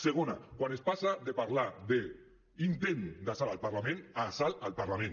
segona quan es passa de parlar de intent d’assalt al parlament a assalt al parlament